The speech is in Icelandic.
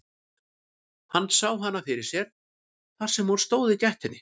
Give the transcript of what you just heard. Hann sá hana fyrir sér þar sem hún stóð í gættinni.